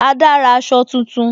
Ada ra aṣọ tuntun